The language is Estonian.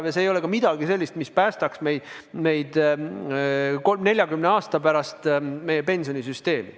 Ning see ei ole ka midagi sellist, mis päästaks 40 aasta pärast meie pensionisüsteemi.